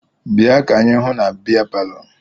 Bịa ka anyị hụ na bịa palọ!